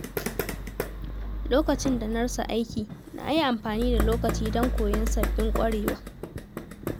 Lokacin da na rasa aiki, na yi amfani da lokaci don koyon sabbin ƙwarewa.